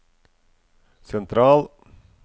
sentral